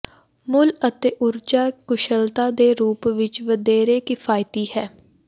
ਮੁੱਲ ਅਤੇ ਊਰਜਾ ਕੁਸ਼ਲਤਾ ਦੇ ਰੂਪ ਵਿੱਚ ਵਧੇਰੇ ਕਿਫ਼ਾਇਤੀ ਹੈ